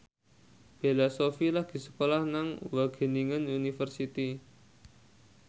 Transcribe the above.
Bella Shofie lagi sekolah nang Wageningen University